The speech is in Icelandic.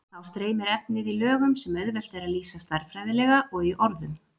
Þá streymir efnið í lögum sem auðvelt er að lýsa stærðfræðilega og í orðum.